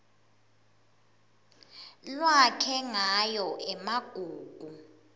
lwakhe ngayo emagugu